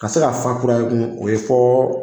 Ka se ka fan kura ye tun, o ye fo